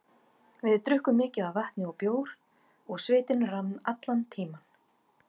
Við drukkum mikið af vatni og bjór og svitinn rann allan tímann.